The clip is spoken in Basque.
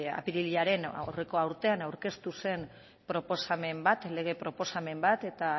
apirilaren aurreko urtean aurkeztu zen proposamen bat lege proposamen bat eta